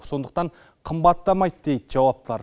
сондықтан қымбаттамайды дейді жауаптылар